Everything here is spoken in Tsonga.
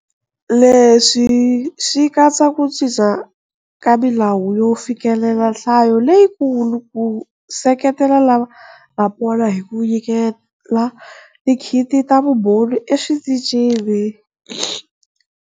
Leswi swi katsa ku cinca ka milawu yo fikelela nhlayo leyikulu, ku seketela lava nga pona hi ku nyikela tikhiti ta vumbhoni eswitichini.